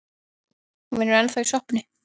Hún vinnur ennþá í sjoppunni.